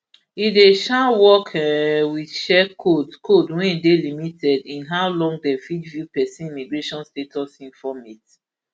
e dey um work um wit share code code wey dey limited in how long dem fit view pesin immigration status informate